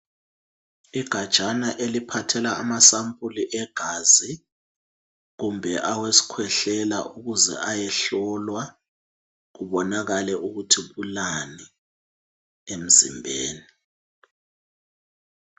Igajana eliphathela amasampuli egazi kumbe awesikhwehlela ukuze ayehlolwa ukuze kubonakale ukuthi kulani emzimbeni.